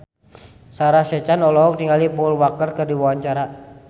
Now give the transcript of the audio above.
Sarah Sechan olohok ningali Paul Walker keur diwawancara